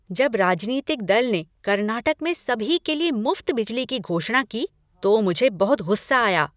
जब राजनीतिक दल ने कर्नाटक में सभी के लिए मुफ्त बिजली की घोषणा की तो मुझे बहुत गुस्सा आया।